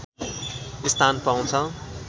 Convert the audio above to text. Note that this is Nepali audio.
स्थान पाउँछ